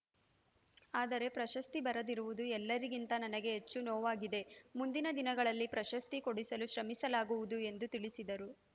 ಆದರೆ ಪ್ರಶಸ್ತಿ ಬರದಿರುವುದು ಎಲ್ಲರಿಗಿಂತ ನನಗೆ ಹೆಚ್ಚು ನೋವಾಗಿದೆ ಮುಂದಿನ ದಿನಗಳಲ್ಲಿ ಪ್ರಶಸ್ತಿ ಕೊಡಿಸಲು ಶ್ರಮಿಸಲಾಗುವುದು ಎಂದು ತಿಳಿಸಿದರು